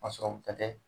A sɔrɔ bɛɛ tɛ